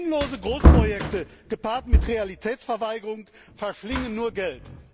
Sinnlose Großprojekte, gepaart mit Realitätsverweigerung, verschlingen nur Geld.